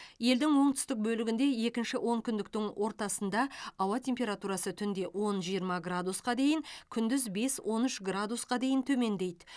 елдің оңтүстік бөлігінде екінші онкүндіктің ортасында ауа температурасы түнде он жиырма градусқа дейін күндіз бес он үш градусқа дейін төмендейді